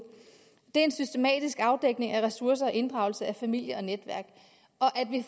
det er en systematisk afdækning af ressourcer og inddragelse af familie og netværk